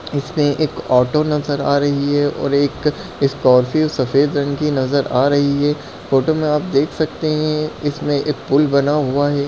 इसमे एक ऑटो नजर आ रही है और एक स्कॉर्पियो (scorpio) सफेद रंग की नजर आ रही है फोटो मे आप देख सकते है इसमे एक पुल बना हुआ है।